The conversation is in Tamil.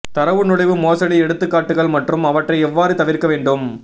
தரவு நுழைவு மோசடி எடுத்துக்காட்டுகள் மற்றும் அவற்றை எவ்வாறு தவிர்க்க வேண்டும்